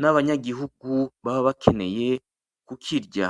n’abanyagihugu baba bakeneye kukirya.